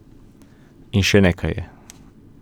In še nekaj je.